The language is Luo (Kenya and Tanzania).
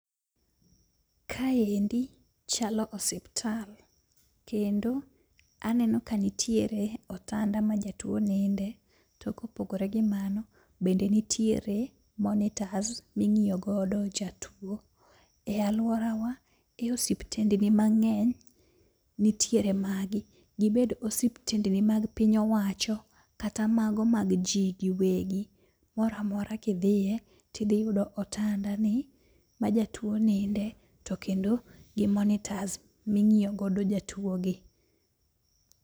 Kae endi chalo osiptal, kendo aneno ka nitiere otanda ma jatuo ninde. To kopogore gi mano, bende nitiere monitors ming'iyo godo jatuo. E alworawa e osiptendni mang'eny nitiere magi, gibed osiptendni mag piny owacho kata mago mag ji giwegi. Mora mora kidhiye tidhiyudo otanda ni ma jatuo ninde, to kendo gi monitas ming'iyo godo jatuo gi.